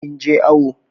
Kin je awo?